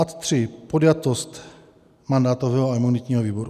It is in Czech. Ad 3 - podjatost mandátového a imunitního výboru.